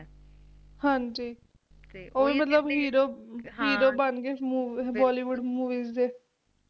ਤੇ ਓਹ ਮਤਲਬ Hero ਬਣ ਗਏ ਸੀ Bollywood Movies ਦੇ